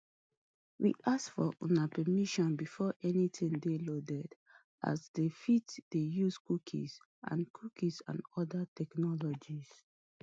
we ask for una permission before anytin dey loaded as dem fit dey use cookies and cookies and oda technologies